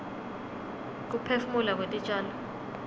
kuphefumula kwetitjalo